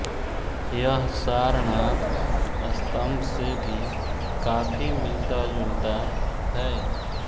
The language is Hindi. यह सारनाथ स्तंभ से भी काफी मिलता जुलता है